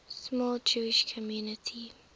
small jewish community